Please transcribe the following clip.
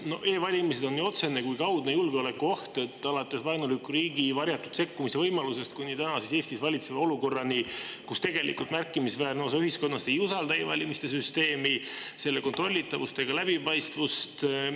E-valimised on nii otsene kui kaudne julgeolekuoht, alates vaenuliku riigi varjatud sekkumise võimalusest kuni tänases Eestis valitseva olukorrani, kus tegelikult märkimisväärne osa ühiskonnast ei usalda e-valimiste süsteemi, selle kontrollitavust ega läbipaistvust.